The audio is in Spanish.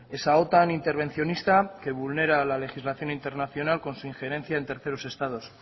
esa otan intervencionista que vulnera la legislación internacional con su ingerencia en terceros estados